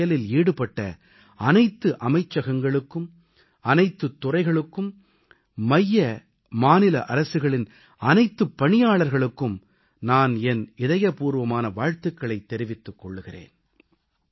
இந்தச் செயலில் ஈடுபட்ட அனைத்து அமைச்சகங்களுக்கும் அனைத்துத் துறைகளுக்கும் மைய மாநில அரசுகளின் அனைத்துப் பணியாளர்களுக்கும் நான் என் இதயபூர்வமான வாழ்த்துகளைத் தெரிவித்துக் கொள்கிறேன்